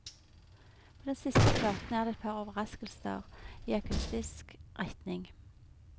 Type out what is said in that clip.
På den siste platen er det et par overraskelser i akustisk retning.